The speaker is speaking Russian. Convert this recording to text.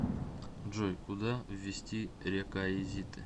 джой куда ввести рекаизиты